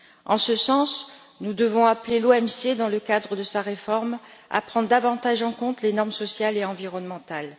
En ce sens, nous devons appeler l'OMC, dans le cadre de sa réforme, à prendre davantage en compte les normes sociales et environnementales.